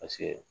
Paseke